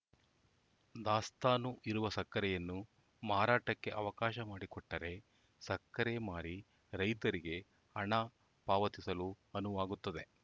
ದಾಸ್ತಾನು ಇರುವ ಸಕ್ಕರೆಯನ್ನು ಮಾರಾಟಕ್ಕೆ ಅವಕಾಶ ಮಾಡಿಕೊಟ್ಟರೆ ಸಕ್ಕರೆ ಮಾರಿ ರೈತರಿಗೆ ಹಣ ಪಾವತಿಸಲು ಅನುವಾಗುತ್ತದೆ